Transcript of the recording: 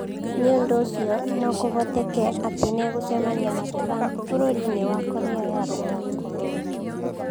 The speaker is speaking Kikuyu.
Nĩ ũndũ ũcio no kũhoteke atĩ nĩ egũcemania na Trump bũrũri-inĩ wa Korea ya Rũgongo